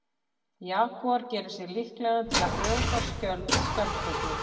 Jagúar gerir sig líklegan til að brjóta skjöld skjaldböku.